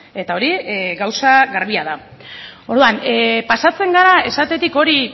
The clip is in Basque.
eta hori gauza garbia da orduan pasatzen gara esatetik hori